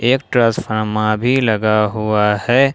एक ट्रांसफार्मा भी लगा हुआ है।